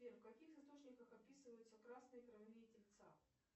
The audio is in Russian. сбер в каких источниках описываются красные кровяные тельца